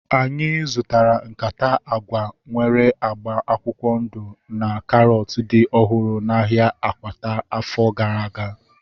Anyị zụtara nkata agwa nwere agba akwụkwọ ndụ na karọt dị ọhụrụ n'ahia Akwata afọ gara aga